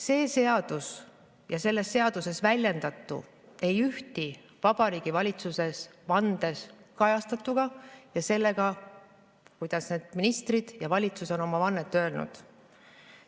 See seadus ja selles seaduses väljendatu ei ühti Vabariigi Valitsuse vandes kajastatuga ja sellega, kuidas need ministrid ja valitsus on oma vannet öelnud.